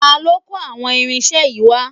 Ta ló kó àwọn irinṣẹ́ yìí wá?